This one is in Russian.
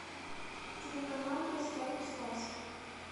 телеканал в гостях у сказки